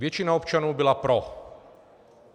Většina občanů byla pro.